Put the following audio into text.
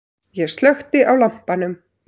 Ég slökkti á lampanum.